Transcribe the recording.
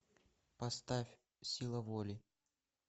поставь сила воли